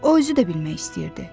O özü də bilmək istəyirdi.